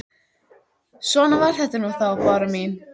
Svona var þetta nú þá, Bára mín.